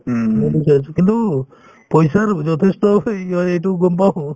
কিন্তু পইচাৰ যথেষ্ট হয় এইটো গম পাওঁ